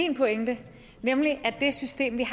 min pointe nemlig at det system vi